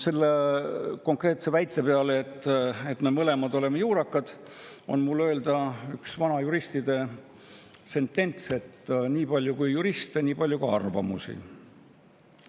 Selle konkreetse väite peale, et me mõlemad oleme juurakad, on mul öelda üks vana juristide sentents: nii palju, kui on juriste, nii palju on ka arvamusi.